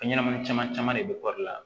Fɛnɲɛnamani caman caman de bɛ kɔri la